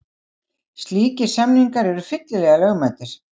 Slíkir samningar eru fyllilega lögmætir.